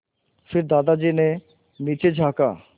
फिर दादाजी ने नीचे झाँका